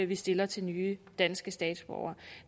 vi stiller til nye danske statsborgere